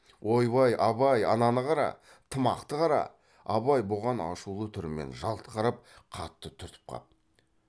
ойбай абай ананы қара тымақты қара абай бұған ашулы түрмен жалт қарап қатты түртіп қап